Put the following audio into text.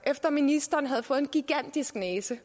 at ministeren havde fået en gigantisk næse